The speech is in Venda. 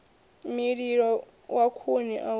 mililo wa khuni o aluwa